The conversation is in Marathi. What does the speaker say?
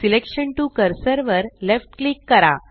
सिलेक्शन टीओ कर्सर वर लेफ्ट क्लिक करा